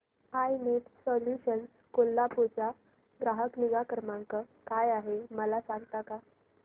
I net solutions Kolhapur चा ग्राहक निगा क्रमांक काय आहे मला सांगता का